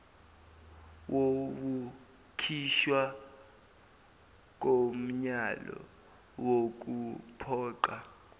wokukhishwa komyalo wokuphoqa